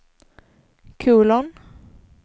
kolon